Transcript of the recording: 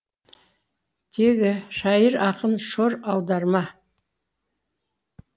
шайыр ақын шор аударма